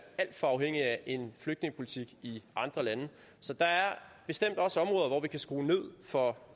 alt for afhængige af en flygtningepolitik i andre lande så der er bestemt også områder hvor vi kan skrue ned for